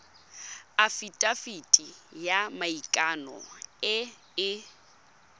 afitafiti ya maikano e e